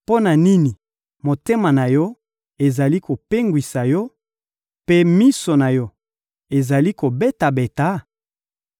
Mpo na nini motema na yo ezali kopengwisa yo, mpe miso na yo ezali kobeta-beta?